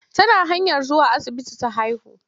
Tana hanyar zuwa asibiti ta haihu.